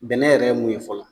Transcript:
Bɛnɛ yɛrɛ ye mun ye fɔlɔ